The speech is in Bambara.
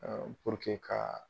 Ɛɛ ka